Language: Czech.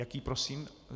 Jaký prosím?